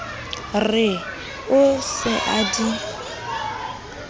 re o se a di